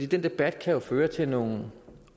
den debat kan jo føre til nogle